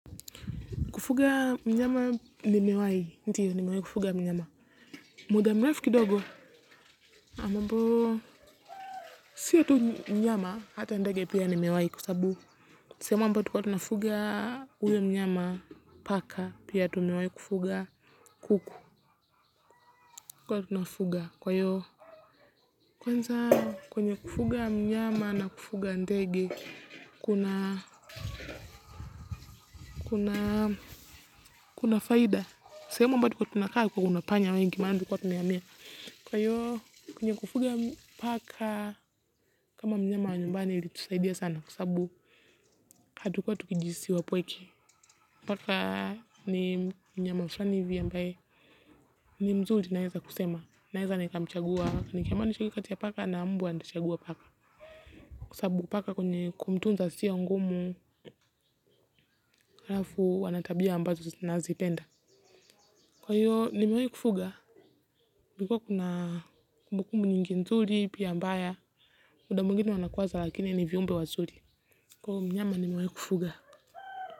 Kufuga mnyama nimewai, ndio nimewai kufuga mnyama. Muda mrefu kidogo, ambao sio tu mnyama hata ndege pia nimewai kwa sababu. Sehemu ambayo tulikuwa tunafuga huyo mnyama, paka, pia tumewai kufuga kuku. Tulikuwa tunafuga kwa hiyo kwanza kwenye kufuga mnyama na kufuga ndege, kuna faida. Sehemu ambayo tulikuwa tunakaa kuna panya wengi maana tulikuwa tumehamia. Kwa hiyo, kwenye kufuga paka, kama mnyama wa nyumbani ilitusaidia sana kwa sababu hatukua tukijihisi wapweke. Paka, ni mnyama fulani hivi ambae, ni mzuri naweza kusema. Naweza nikamchagua, nikiambiwa nichague kati ya paka na mbwa nitachagua paka. Kwa sababu paka kwenye kumtunza sio ngumu, halafu ana tabia ambazo nazipenda. Kwa hiyo, nimeweai kufuga, kulikuwa kuna kumbukumbu nyingi nzuli, pia mbaya, mdamwingine wanakuwa za lakini ni viumbe wazuri. Kwa mnyama ni mewai kufuga.